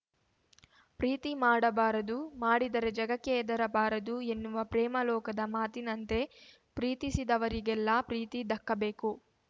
ಪ್ರೀತಿ ಮಾಡಬಾರದು ಮಾಡಿದರೆ ಜಗಕ್ಕೆ ಹೆದರಬಾರದು ಎನ್ನುವ ಪ್ರೇಮಲೋಕದ ಮಾತಿನಂತೆ ಪ್ರೀತಿಸಿದರಿಗೆಲ್ಲ ಪ್ರೀತಿ ದಕ್ಕಬೇಕು